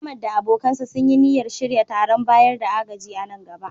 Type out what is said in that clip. Ahmad da abokansa sun yi niyyar shirya taron bayar da agaji a nan gaba